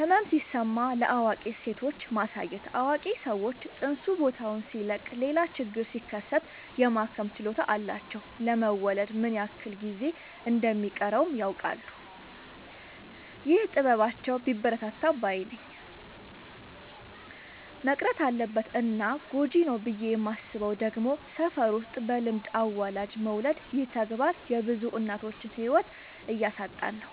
ህመም ሲሰማት ለአዋቂ ሴቶች ማሳየት አዋቂ ሰዎች ፅንሱ ቦታውን ሲለቅ ሌላ ችግር ሲከሰት የማከም ችሎታ አላቸው ለመወለድ ምን ያክል ጊዜ እንደ ሚቀረውም ያውቃሉ። ይህ ጥበባቸው ቢበረታታ ባይነኝ። መቅረት አለበት እና ጎጂ ነው ብዬ የማስበው ደግሞ ሰፈር ውስጥ በልምድ አዋላጅ መውለድ ይህ ተግባር የብዙ እናቶችን ህይወት እያሳጣን ነው።